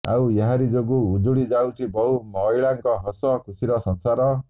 ଆଉ ଏହାରି ଯୋଗୁଁ ଉଜୁଡି ଯାଉଛି ବହୁ ମହିଳାଙ୍କ ହସ ଖୁସିର ସଂସାର